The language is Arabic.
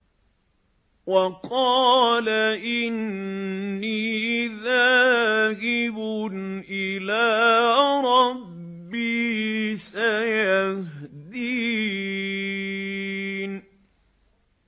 وَقَالَ إِنِّي ذَاهِبٌ إِلَىٰ رَبِّي سَيَهْدِينِ